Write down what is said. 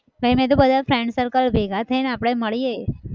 કઈ નહિ તો બધા friend circle ભેગા થઈને આપણે મળીએ.